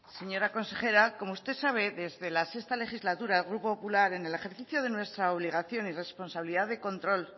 señora consejera como usted sabe desde la sexto legislatura el grupo popular en el ejercicio de nuestra obligación y responsabilidad de control